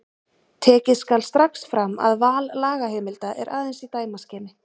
Tekið skal strax fram að val lagaheimilda er aðeins í dæmaskyni.